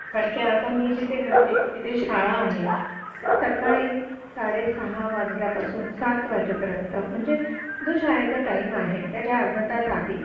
कारण की आता मी जिथे राहते तिथे शाळा आहे सकाळी साडेसहा वाजल्यापासून सात वाजेपर्यंत म्हणजे जो शाळेचा टाईम आहे त्याच्या अर्धा तास आधी